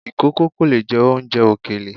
Ìkòkò kò lè jẹ oúnjẹ ìkèlè.